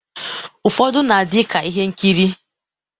Ufọdu na adi ka ihe nkiri